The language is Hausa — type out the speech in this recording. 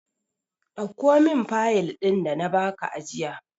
Dauko min fayil ɗin da na ba ka jiya!